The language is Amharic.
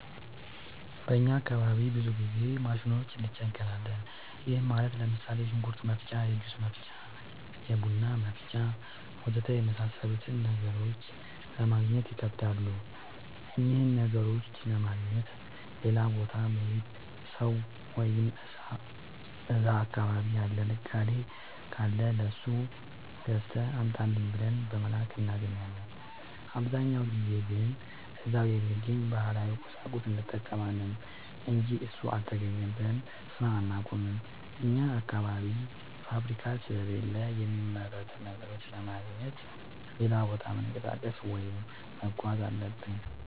በእኛ አካባቢ ብዙ ጊዜ ማሽኖች እንቸገራለን። ይህም ማለት ለምሳሌ፦ የሽንኩርት መፍጫ፣ የጁስ መፍጫ፣ የቡና መፍጫ.... ወዘተ የመሣሠሉትን ነገሮች ለማገግኘት ይከብዳሉ። እነኝህን ነገሮች ለማግኘት ሌላ ቦታ የሚሄድ ሠው ወይም እዛ አካባቢ ያለ ነጋዴ ካለ ለሱ ገዝተህ አምጣልኝ ብለን በመላክ እናገኛለን። አብዛኛውን ጊዜ ግን እዛው በሚገኝ ባህላዊ ቁሳቁስ እንጠቀማለን አንጂ እሱ አልተገኘም ብለን ስራ አናቆምም። አኛ አካባቢ ፋብሪካ ስለሌለ የሚመረቱ ነገሮችን ለማግኘት ሌላ ቦታ መንቀሳቀስ ወይም መጓዝ አለብን።